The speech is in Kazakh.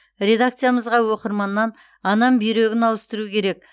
редакциямызға оқырманнан анам бүйрегін ауыстыру керек